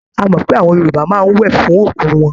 A mọ̀ pé àwọn Yorùbá máa ń wẹ̀ fún òkú wọn.